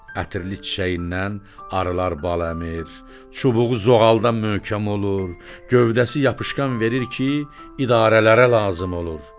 Ətirli çiçəyindən arılar bal əmir, çubuğu zoğaldan möhkəm olur, gövdəsi yapışqan verir ki, idarələrə lazım olur.